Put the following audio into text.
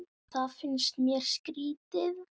Það finnst mér skrýtið